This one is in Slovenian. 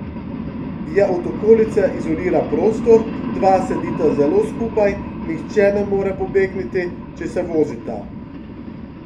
Je od okolice izoliran prostor, dva sedita zelo skupaj, nihče ne more pobegniti, če se vozita.